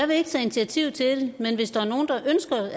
vil tage initiativ til